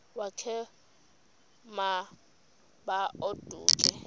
wakhe ma baoduke